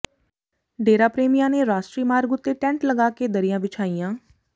ਡੇਰਾ ਪ੍ਰੇਮੀਆਂ ਨੇ ਰਾਸ਼ਟਰੀ ਮਾਰਗ ਉੱਤੇ ਟੈਂਟ ਲਗਾ ਕੇ ਦਰੀਆਂ ਵਿਛਾਈਆਂ